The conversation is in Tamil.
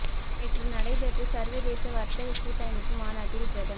நேற்று நடைபெற்ற சர்வதேச வர்த்தக கூட்டமைப்பு மாநாட்டில் பிரதமர்